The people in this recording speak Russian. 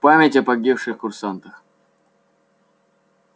в память о погибших курсантах